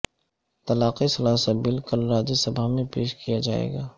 طلاق ثلاثہ بل کل راجیہ سبھا میں پیش کیا جائیگا